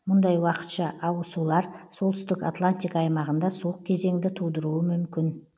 мұндай уақытша ауысулар солтүстік атлантика аймағында суық кезеңді тудыруы мүмкін